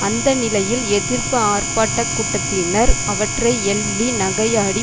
அந்த நிலையில் எதிர்ப்பு ஆர்ப்பாட்ட கூட்டத்தினர் அவற்றை எள்ளி நகையாடி